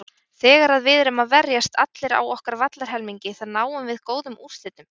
Þegar að við erum að verjast allir á okkar vallarhelmingi þá náum við góðum úrslitum.